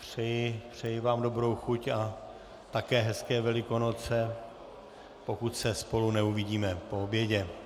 Přeji vám dobrou chuť a také hezké Velikonoce, pokud se spolu neuvidíme po obědě.